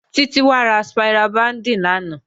Títí wá ra spira bíǹdì lánàá.